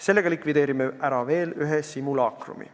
Sellega likvideeriksime ära veel ühe simulaakrumi.